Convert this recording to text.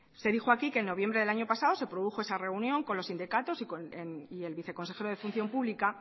se dijo aquí que en noviembre del año pasado se produjo esa reunión con los sindicatos y el viceconsejero de función pública